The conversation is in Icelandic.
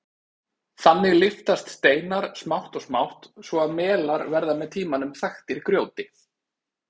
Þannig lyftast steinar smátt og smátt svo að melar verða með tímanum þaktir grjóti.